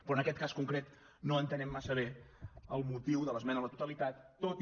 però en aquest cas concret no entenem massa bé el motiu de l’esmena a la totalitat tot i